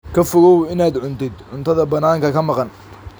Ka fogow inaad cuntid cuntada bannaanka ka maqan.